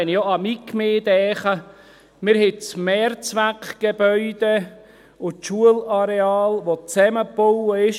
Wenn ich auch an meine Gemeinde denke: Wir haben das Mehrzweckgebäude und das Schulareal, die zusammengebaut sind.